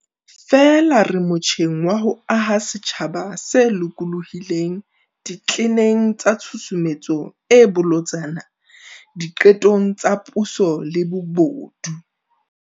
Feela re motjheng wa ho aha setjhaba se lokolohileng ditleneng tsa tshusumetso e bolotsana di qetong tsa puso le bobodu.